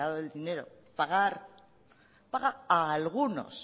del dinero pagar paga a algunos